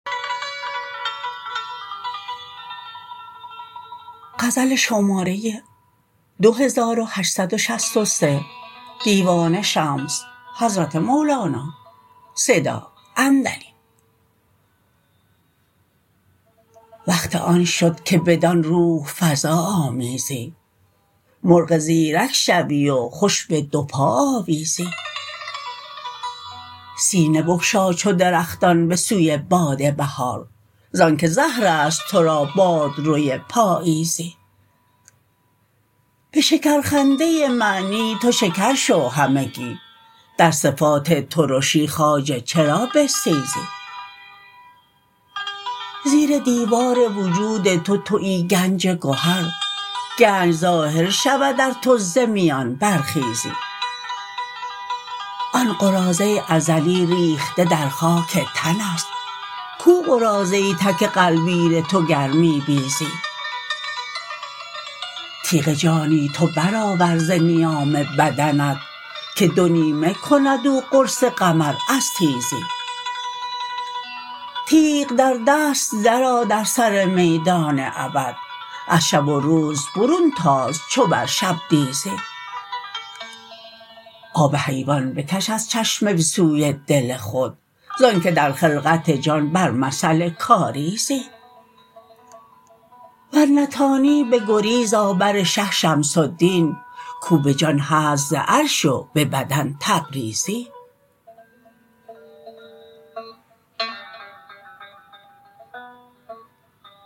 وقت آن شد که بدان روح فزا آمیزی مرغ زیرک شوی و خوش به دو پا آویزی سینه بگشا چو درختان به سوی باد بهار ز آنک زهر است تو را باد روی پاییزی به شکرخنده معنی تو شکر شو همگی در صفات ترشی خواجه چرا بستیزی زیر دیوار وجود تو توی گنج گهر گنج ظاهر شود ار تو ز میان برخیزی آن قراضه ازلی ریخته در خاک تن است کو قراضه تک غلبیر تو گر می بیزی تیغ جانی تو برآور ز نیام بدنت که دو نیمه کند او قرص قمر از تیزی تیغ در دست درآ در سر میدان ابد از شب و روز برون تاز چو بر شبدیزی آب حیوان بکش از چشمه به سوی دل خود ز آنک در خلقت جان بر مثل کاریزی ور نتانی بگریز آ بر شه شمس الدین کو به جان هست ز عرش و به بدن تبریزی